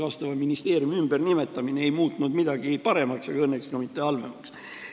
Vastava ministeeriumi ümbernimetamine ei muutnud midagi paremaks, õnneks ka mitte halvemaks.